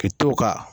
Ka to ka